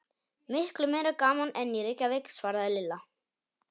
Miklu meira gaman en í Reykjavík svaraði Lilla.